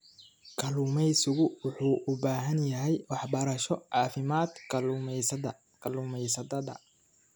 Kalluumaysigu wuxuu u baahan yahay waxbarasho caafimaad kalluumaysatada.